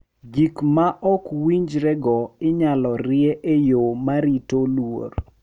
Gik ma ok winjrego inyalo rie e yo ma rito luor .